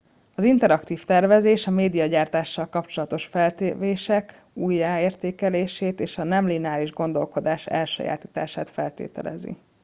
az interaktív tervezés a médiagyártással kapcsolatos feltevések újraértékelését és a nem lineáris gondolkodás elsajátítását feltételezi